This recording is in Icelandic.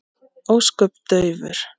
Ósköp daufur.